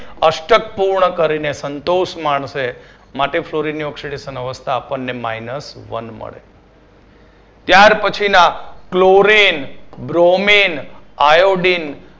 અષ્ટક પૂર્ણ કરીને સંતોષ માનશે. માટે fluorine ની oxidation અવસ્થા આપણને minusone મળે. ત્યાર પછીના chlorine bromine iodine